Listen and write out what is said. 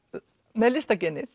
með